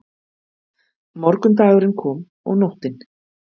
Morgundagurinn kom og nóttin.